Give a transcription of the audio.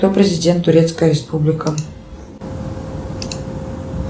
кто президент турецкая республика